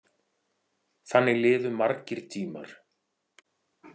Þannig liðu margir tímar.